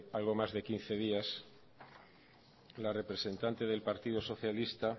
algo más de quince días la representante del partido socialista